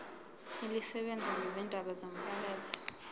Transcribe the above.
elisebenza ngezindaba zomphakathi